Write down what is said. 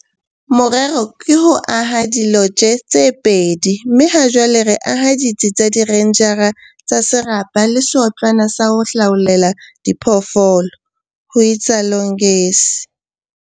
"Morero ke ho aha dilotje tse pedi mme hajwale re aha ditsi tsa direnjara tsa serapa le seotlwana sa ho laollela diphoofolo," ho itsalo Ngesi.